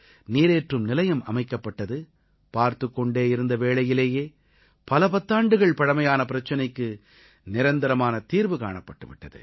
நீரேற்றும் நிலையம் அமைக்கப்பட்டது பார்த்துக் கொண்டிருந்த வேளையிலேயே பல பத்தாண்டுகள் பழமையான பிரச்சனைக்கு நிரந்தரமான தீர்வு காணப்பட்டு விட்டது